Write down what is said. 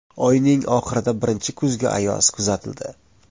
Oyning oxirida birinchi kuzgi ayoz kuzatildi.